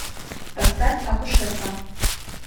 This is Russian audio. поставь акушерка